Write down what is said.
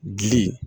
Gili